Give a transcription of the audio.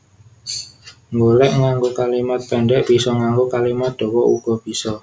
Nggolék nganggo kalimat péndhek bisa nganggo kalimat dawa uga bisa